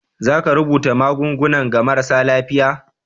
za ka rubuta magungunan ga marasa lafiya?